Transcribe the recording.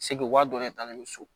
Segu wari dɔ de talen don so